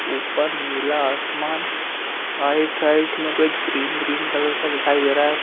ऊपर नीला आसमान आइट-साइट में कुछ ग्रीन ग्रीन कलर का दिखाई दे रहा है।